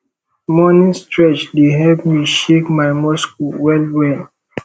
morning stretch dey help me shake my muscle well well